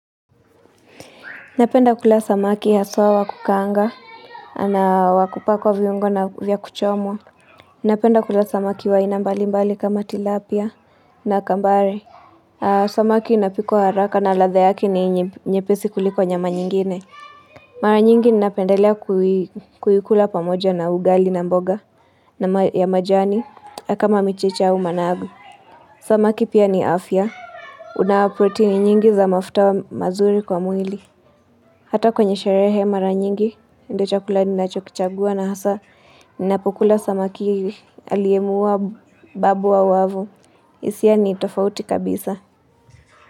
Napenda kula samaki haswa wa kukaanga na wa kupakwa viungo na vya kuchomwa. Napenda kula samaki wa ainambalimbali kama tilapia na kambare. Samaki inapikwa haraka na ladha yake ni nyepesi kuliko nyama nyingine. Mara nyingi ninapendelea kuikula pamoja na ugali na mboga ya majani, kama mchicha au managu. Samaki pia ni afya. Kuna protein nyingi za mafuta mazuri kwa mwili. Hata kwenye sherehe mara nyingi ndio chakula ninachokichagua na hasa ninapokula samaki hii aliyemuuwa babu wa wavu hisia ni tofauti kabisa.